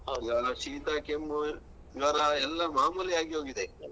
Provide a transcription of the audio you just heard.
ಈಗ ಶೀತ ಕೆಮ್ಮು ಜ್ವರ ಎಲ್ಲಾ ಮಾಮೂಲಿ ಆಗಿ ಹೋಗಿದೆ.